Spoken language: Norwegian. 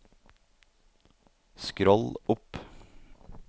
skroll opp